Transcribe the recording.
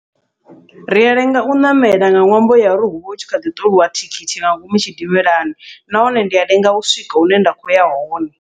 Ria lenga u ṋamela nga ṅwambo ya uri huvha hu tshi kha ḓi ṱoliwa thikhithi nga ngomu tshidimelani, nahone ndi a lenga u swika hune nda khou ya hone.